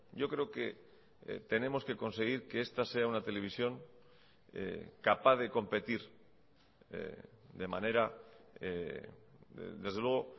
yo creo que tenemos que conseguir que esta sea una televisión capaz de competir de manera desde luego